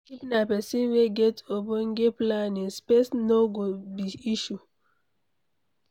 if na person wey get ogbonge planning, space no go be issue